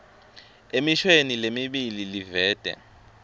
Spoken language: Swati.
emishweni lemibili livete